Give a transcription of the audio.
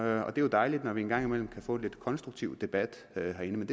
er jo dejligt når vi en gang imellem kan få lidt konstruktiv debat herinde men